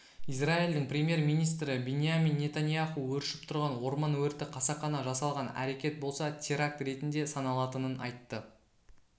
израильдің премьер-министрі биньями нетаньяху өршіп тұрған орман өрті қасақана жасалған әрекет болса теракт ретінде саналатынын айтты